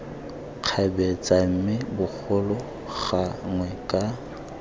kgabetsa mme bogolo gangwe ka